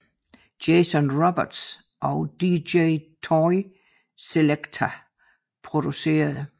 Jason Roberts og DJ Toy Selectah producerede